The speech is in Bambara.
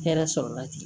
Hɛrɛ sɔrɔla tigi